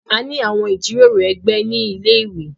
A ní àwọn ìjíròrò ẹgbẹ̀ ní ilẹ̀-iwé.